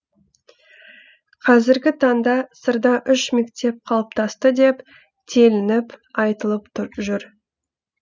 қазіргі таңда сырда үш мектеп қалыптасты деп телініп айтылып жүр